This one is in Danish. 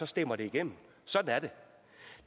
stemmer det igennem sådan er